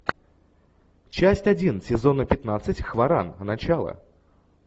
часть один сезона пятнадцать хваран начало